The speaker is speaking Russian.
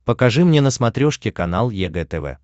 покажи мне на смотрешке канал егэ тв